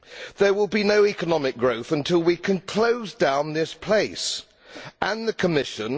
There will be no economic growth until we can close down this place, and the Commission.